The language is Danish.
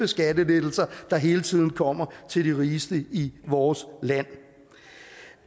skattelettelser der hele tiden kommer til de rigeste i vores land